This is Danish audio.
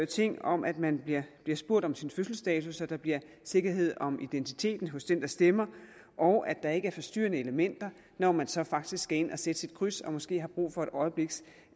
ting om at man bliver spurgt om sin fødselsdato så der bliver sikkerhed om identiteten hos den der stemmer og at der ikke er forstyrrende elementer når man så faktisk skal ind og sætte sit kryds og måske har brug for et øjebliks